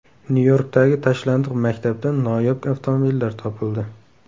Nyu-Yorkdagi tashlandiq maktabdan noyob avtomobillar topildi .